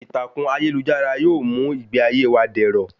Ìtàkùn ayélujára yóò mú ìgbé ayé wa dẹ̀rọ̀